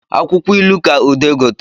Akwụkwọ ilu ka ude gotere